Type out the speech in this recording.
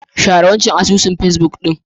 Share wancan asusun pacebook na ku.